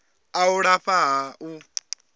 a u lafha ha u